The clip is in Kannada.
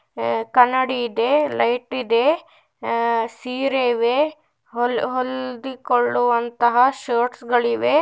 ಎ - ಕನ್ನಡಿ ಇದೆ ಲೈಟ್ ಇದೆ ಅ-ಸೀರೆ ಇವೆ ಹೊಲ್ - ಹೊಲ್ದಿ ಕೊಳ್ಳುವಂತ ಶರ್ಟ್ಸ್ ಗಳಿವೆ.